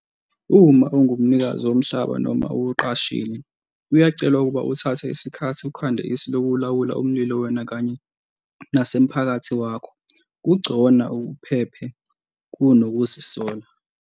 Uma ungumnikazi womhlaba noma uwuqashile, kuyacelwa ukuba uthathe isikhathi ukhande isu lokulawula umlilo wena kanye nasemphakathi wakho - kugcona uphephe kunokuzisola!